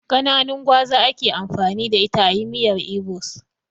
Kananun gwaza ake amfani da ita ayi miyar ibo's